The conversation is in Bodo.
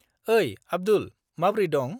ओइ, आब्दुल, माब्रै दं?